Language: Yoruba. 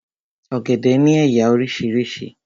Ọ̀gẹ̀dẹ̀ ni éyá orísirísi